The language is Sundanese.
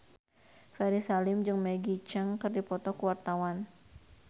Ferry Salim jeung Maggie Cheung keur dipoto ku wartawan